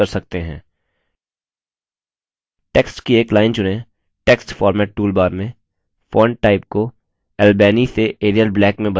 text की एक line चुनें text format टूलबार में font type को albany से arial black में बदलें